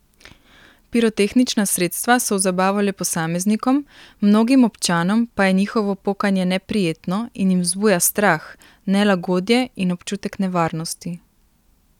Pirotehnična sredstva so v zabavo le posameznikom, mnogim občanom pa je njihovo pokanje neprijetno in jim vzbuja strah, nelagodje in občutek nevarnosti.